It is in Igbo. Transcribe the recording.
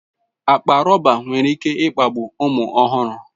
Akpa rọba nwere ike kpagbuo ụmụ ọhụrụ.